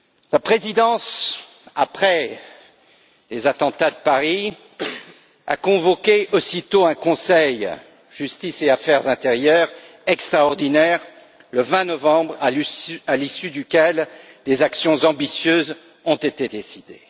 La présidence, après les attentats de Paris, a aussitôt convoqué un Conseil Justice et affaires intérieures extraordinaire le 20 novembre, à l'issue duquel des actions ambitieuses ont été décidées.